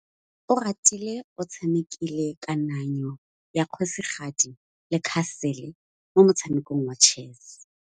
Oratile o tshamekile kananyô ya kgosigadi le khasêlê mo motshamekong wa chess.